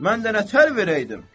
Mən də nətər verəydim?